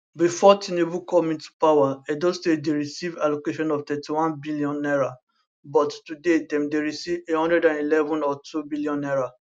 bifor tinubu come into power edo state dey receive allocation of 31 billion naira but today dem dey receive 111 or 2 billion naira